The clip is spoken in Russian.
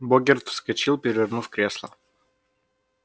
богерт вскочил перевернув кресло